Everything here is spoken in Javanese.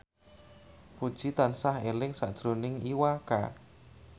Puji tansah eling sakjroning Iwa K